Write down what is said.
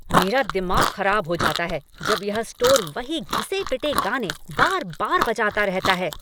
मेरा दिमाग खराब हो जाता है जब यह स्टोर वही घिसे पिटे गाने बार बार बजाता रहता है।